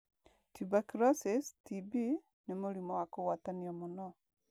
Tuberculosis (TB) nĩ mũrimũ wa kũgwatanio mũno.